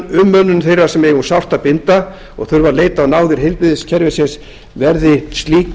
umönnun þeirra sem eiga um sárt að binda og þurfa að leita á náðir heilbrigðiskerfisins verði slík